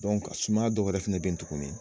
sumaya dɔwɛrɛ fana bɛ yen tuguni.